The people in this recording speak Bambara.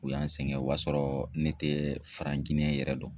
U y'an sɛgɛn, o y'a sɔrɔ ne tɛ farakɛn yɛrɛ dɔn